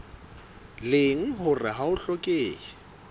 leng hore ha ho hlokehe